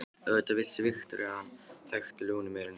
Auðvitað vissi Viktoría að hann þekkti Lúnu meira en lítið.